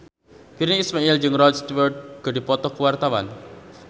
Virnie Ismail jeung Rod Stewart keur dipoto ku wartawan